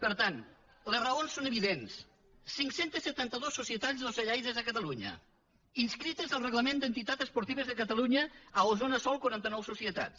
per tant les raons són evidents cinc cents i setanta dos societats ocellaires a catalunya inscrites al reglament d’entitats esportives de catalunya a osona sol quaranta nou societats